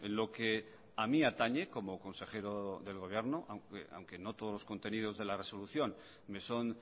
lo que a mi atañe como consejero del gobierno aunque no todos los contenidos de la resolución me son